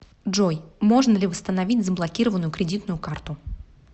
джой можно ли восстановить заблокированную кредитную карту